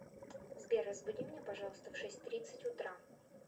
сбер разбуди меня пожалуйста в шесть тридцать утра